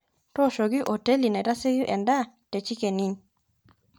toshoki hoteli naitasieku edaa te chicken inn